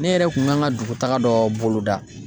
Ne yɛrɛ kun kan ka dugutaga dɔ boloda.